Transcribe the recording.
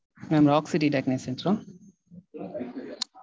Mam rock city technician ah?